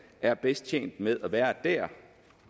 er bedst tjent med at være der